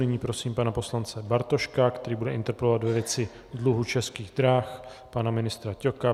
Nyní prosím pana poslance Bartoška, který bude interpelovat ve věci dluhu Českých drah pana ministra Ťoka.